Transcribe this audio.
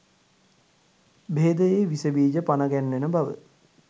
භේදයේ විෂබීජ පනගැන්වෙන බව